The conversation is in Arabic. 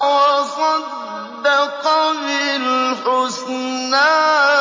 وَصَدَّقَ بِالْحُسْنَىٰ